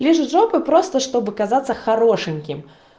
лижет жопу просто чтобы казаться хорошеньким